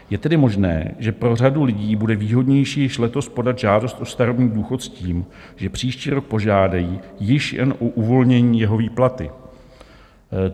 Je tedy možné, že pro řadu lidí bude výhodnější již letos podat žádost o starobní důchod s tím, že příští rok požádají již jen o uvolnění jeho výplaty.